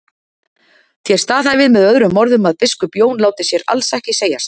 Þér staðhæfið með öðrum orðum að biskup Jón láti sér alls ekki segjast.